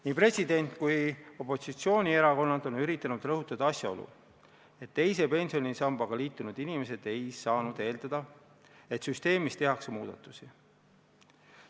Nii president kui opositsioonierakonnad on üritanud rõhutada asjaolu, et teise pensionisambaga liitunud inimesed ei saanud eeldada, et süsteemis tehakse muudatusi.